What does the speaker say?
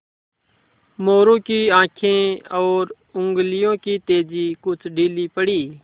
मोरू की आँखें और उंगलियों की तेज़ी कुछ ढीली पड़ी